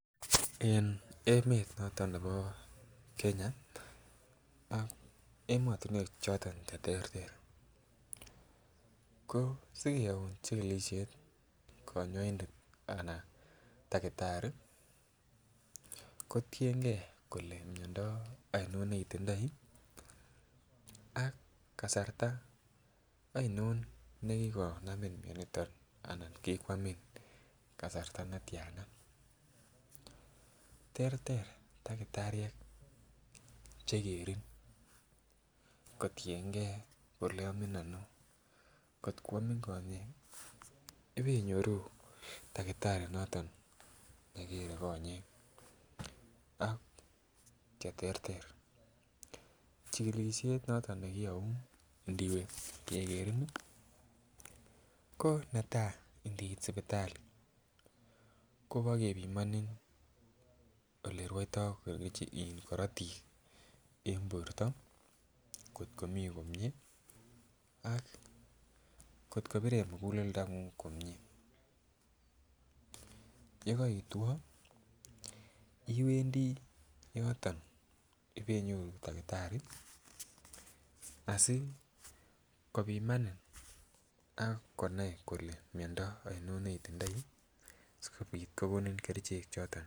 En emet noton nebo Kenya ak emotunwek choton cheterter ko sikeyoun chikikishet konyoindet ana takitari kotinyegee kele miondo oino netindo ak kasarta oinon nekikonami mioniton anan kibwanlmin kasarta netiana. Terter takitariek chekerin kotiyengee kole omin Ono, kotko kwomin konyek ipenyoru takitari noton nekere konyek ak cheterter chikikishet noton nekiyou ndiwe kekerin nii ko netai ndiit sipitali Kobo kepimoni olerouto keteche korotik en borto kotko mii komie ak kotko bire muguleldonguny komie yekoitwo iwendii yoton ipe nyoru takitari sikopomani ak konai kole miondo oino ne itindoi sikopit kokonin kerichek choton.